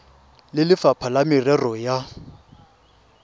le lefapha la merero ya